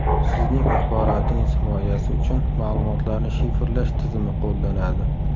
Sizning axborotingiz himoyasi uchun ma’lumotlarni shifrlash tizimi qo‘llanadi.